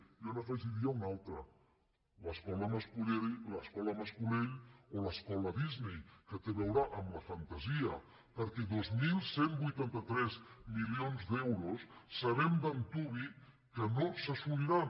jo n’hi afegiria una altra l’es·cola mas·colell o l’escola disney que té a veure amb la fantasia perquè dos mil cent i vuitanta tres milions d’euros sabem d’an·tuvi que no s’assoliran